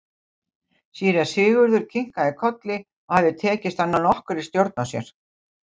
Síra Sigurður kinkaði kolli og hafði tekist að ná nokkurri stjórn á sér.